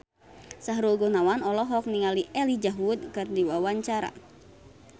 Sahrul Gunawan olohok ningali Elijah Wood keur diwawancara